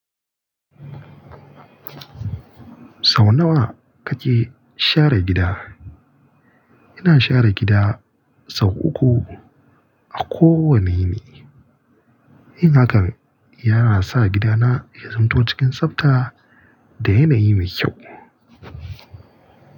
Sau nawa kake share gida? Ina share gida sau uku a kowane yini. Yin hakan yana sa gidana ya zamto cikin tsabta da yanayi mai kyau.